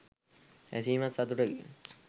ඇසීමත් සතුටකි.